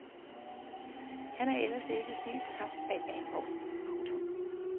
Han er ellers ikke er helt tabt bag af en vogn. punktum